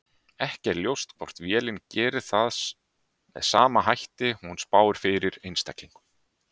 Ekki er ljóst hvort vélin gerir það með sama hætti og hún spáir fyrir einstaklingum.